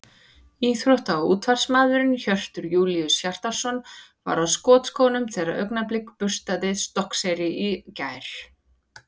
Íþrótta- og útvarpsmaðurinn Hjörtur Júlíus Hjartarson var á skotskónum þegar Augnablik burstaði Stokkseyri í gær.